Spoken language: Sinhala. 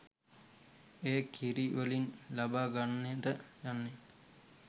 එය කිරි වලින් ලබා ගන්නට යන්නේ